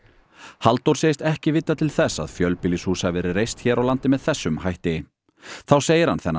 Halldór segist ekki vita til þess að fjölbýlishús hafi verið reist hér á landi með þessum hætti þá segir hann þennan